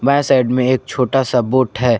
बांए साइड में एक छोटा सा बोट है।